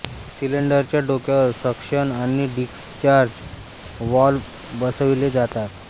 सिलेंडरच्या डोक्यावर सक्शन आणि डिस्चार्ज वाल्व्ह बसविले जातात